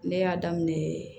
Ne y'a daminɛ